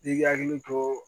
I k'i hakili to